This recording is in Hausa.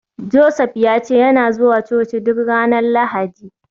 Joseph ya ce yana zuwa coci duk ranar Lahadi